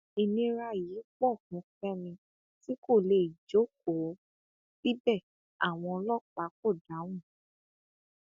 ìnira yìí pọ fún fẹmi tí kò lè jókòó síbẹ àwọn ọlọpàá kò dáhùn